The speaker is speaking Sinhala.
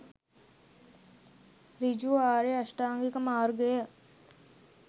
ඍජු ආර්ය අෂ්ටාංගික මාර්ගය